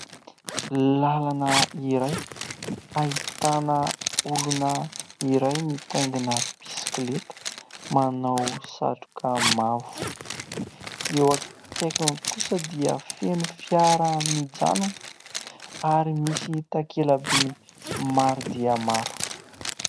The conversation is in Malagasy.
Làlana iray ahitana olona iray mitaingina bisikileta, manao satroka mavo, eo akaikiny kosa dia feno fiara mijanona ary misy takela-by maro dia maro.